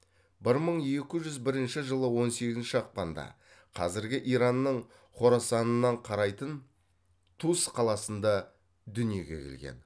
бір мың екі жүз бірінші жылы он сегізінші ақпанда қазіргі иранның хорасанынан қарайтын тус қаласында дүниеге келген